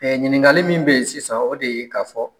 ɲininkali min be yen sisan o de ye ka fɔ